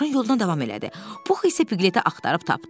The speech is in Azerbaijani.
Dovşan yoluna davam elədi, Pux isə Piqletə axtarıb tapdı.